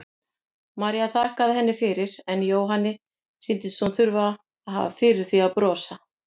María þakkaði henni fyrir en Jóhanni sýndist hún þurfa að hafa fyrir því að brosa.